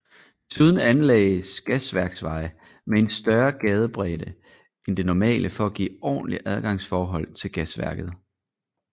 Desuden anlagdes Gasværksvej med en større gadebredde end det normale for at give ordentlige adgangsforhold til gasværket